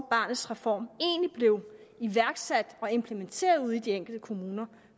barnets reform egentlig blev iværksat og implementeret ude i de enkelte kommuner